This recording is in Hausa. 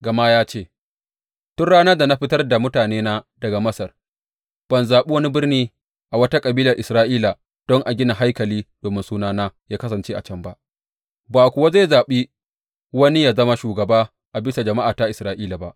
Gama ya ce, Tun ranar na da fitar da mutanena daga Masar, ban zaɓi wani birni a wata kabilar Isra’ila don a gina haikali domin Sunana ya kasance a can ba, ba kuwa zaɓi wani yă zama shugaba a bisa jama’ata Isra’ila ba.